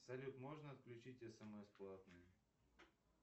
салют можно отключить смс платные